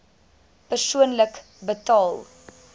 persoonlik betaal